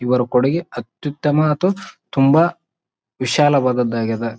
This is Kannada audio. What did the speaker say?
ಇವರ ಕೊಡುಗೆ ಅತ್ಯುತ್ತಮ ಅಥವಾ ತುಂಬಾ ವಿಶಾಲವಾದದ್ದಾಗಿದೆ.